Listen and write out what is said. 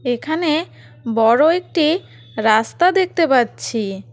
এখানে বড় একটি রাস্তা দেখতে পাচ্ছি।